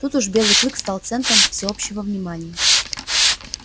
тут уж белый клык стал центром всеобщего внимания